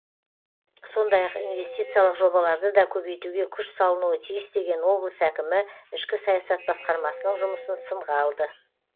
сондай ақ инвестициялық жобаларды да көбейтуге күш салынуы тиіс деген облыс әкімі ішкі саясат басқармасының жұмысын сынға алды